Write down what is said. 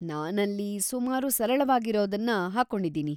ನಾನಲ್ಲಿ ಸುಮಾರು ಸರಳವಾಗಿರೋದನ್ನ ಹಾಕ್ಕೊಂಡಿದೀನಿ.